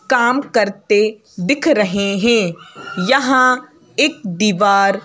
काम करते दिख रहे हैं यहां एक दीवार--